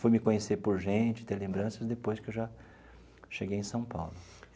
Fui me conhecer por gente, ter lembranças, depois que eu já cheguei em São Paulo.